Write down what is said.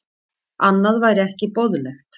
Annað væri ekki boðlegt